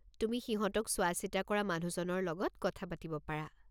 তুমি সিহঁতক চোৱা চিতা কৰা মানুহজনৰ লগত কথা পাতিব পাৰা।